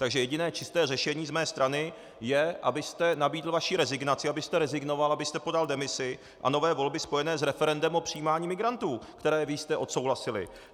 Takže jediné čisté řešení z mé strany je, abyste nabídl svou rezignaci, abyste rezignoval, abyste podal demisi, a nové volby spojené s referendem o přijímání migrantů, které vy jste odsouhlasili.